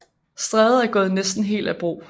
Stræde er gået næsten helt af brug